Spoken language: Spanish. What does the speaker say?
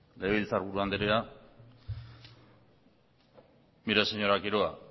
legebiltzarburu andrea mire señora quiroga